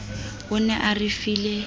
o ne a re file